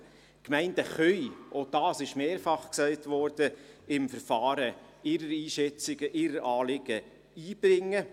Die Gemeinden können im Verfahren ihre Einschätzungen und Anliegen einbringen.